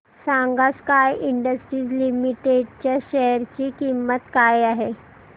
सांगा Sky industries limited च्या share ची किंमत काय आहे